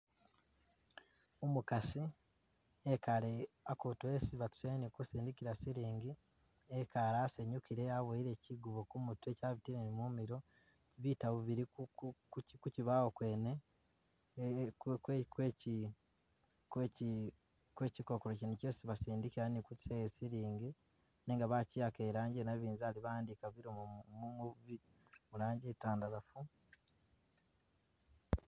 Umukasi e'kale a'kutu esi batusayo ni sindikila siling, e'kale asanyukile, aboyele chigubo kumutwe chabitile ni mumilo, bitabu bili Ku Ku Ku chibawo kwene kwe e kwe kwechi kwechi kwechi kokolo chene chesi basindikila ni kutusayo siling nenga bachiwakha e'rangi yanabizali, ba'andika bilomo murangi i'ntandalafu